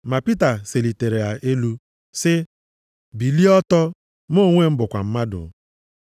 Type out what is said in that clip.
Ma Pita selitara ya elu sị, “Bilie ọtọ, mụ onwe m bụkwa mmadụ.”